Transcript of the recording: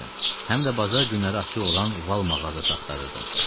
Həm də bazar günləri açıq olan Val mağazası axtarırdım.